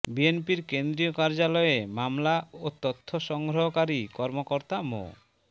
বিএনপির কেন্দ্রীয় কার্যালয়ের মামলা ও তথ্য সংগ্রহকারী কর্মকর্তা মো